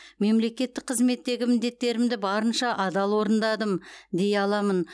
мемлекеттік қызметтегі міндеттерімді барынша адал орындадым дей аламын